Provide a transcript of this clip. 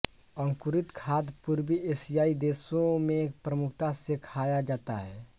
अंकुरित खाद्य पूर्वी एशियाई देशों में प्रमुखता से खाया जाता है